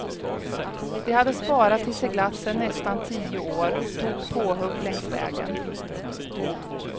De hade sparat till seglatsen nästan tio år och tog påhugg längs vägen.